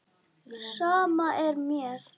Sama er mér.